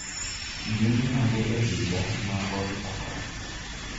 jumbe mage e higa ma oro chakore